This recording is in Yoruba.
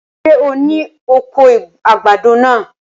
Ṣé o ni oko àgbàdo náà?